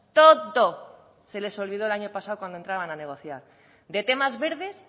esto todo eh todo se les olvidó el año pasado cuando entraban a negociar de temas verdes